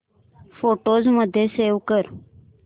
photos मध्ये save कर